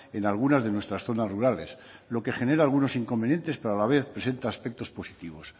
en algunas de nuestras zonas rurales lo que genera algunos inconvenientes pero a la vez presenta aspectos positivos